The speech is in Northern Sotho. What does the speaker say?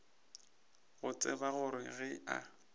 go tseba gore ge a